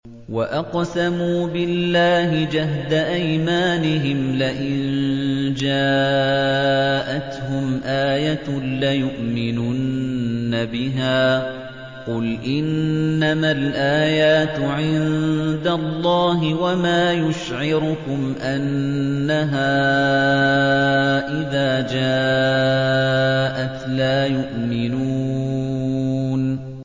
وَأَقْسَمُوا بِاللَّهِ جَهْدَ أَيْمَانِهِمْ لَئِن جَاءَتْهُمْ آيَةٌ لَّيُؤْمِنُنَّ بِهَا ۚ قُلْ إِنَّمَا الْآيَاتُ عِندَ اللَّهِ ۖ وَمَا يُشْعِرُكُمْ أَنَّهَا إِذَا جَاءَتْ لَا يُؤْمِنُونَ